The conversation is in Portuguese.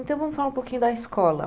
Então, vamos falar um pouquinho da escola.